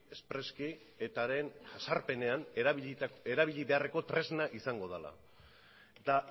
espreski etaren jazarpenean erabili beharreko tresna izango dela eta